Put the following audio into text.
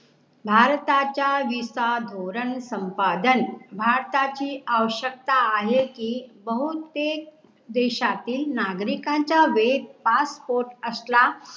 भारताच्या VISA धोरण संपादन भारताची आवशक्यता आहे की बहुतेक देशातील नागरीकांचा बेत PASSPORT असला